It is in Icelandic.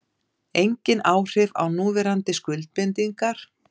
Engin áhrif á núverandi skuldbindingar